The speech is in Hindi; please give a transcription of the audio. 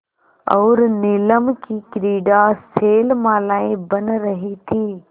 और नीलम की क्रीड़ा शैलमालाएँ बन रही थीं